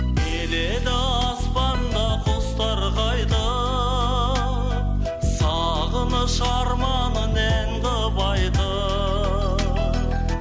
келеді аспанда құстар қайтып сағыныш арманын ән қылып айтып